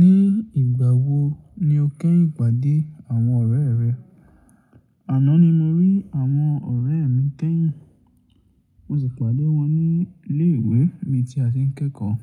Ní ìgbà wo ni o kẹ́yìn pàdé àwọn ọ̀rẹ́ rẹ? Àná ni mo rí àwọn ọ̀rẹ́ mi kẹ́yìn. Mo sì pàdé wọn ní ilé ìwé mi tí a ti ń kẹ́kọ̀ọ́.